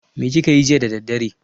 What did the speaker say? Me kake yi jiya da daddare?